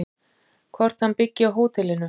Hvort hann byggi á hótelinu?